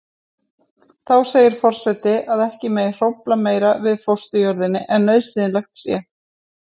Þá segir forseti að ekki megi hrófla meira við fósturjörðinni en nauðsynlegt sé.